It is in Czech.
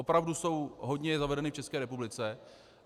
Opravdu jsou hodně zavedeny v České republice.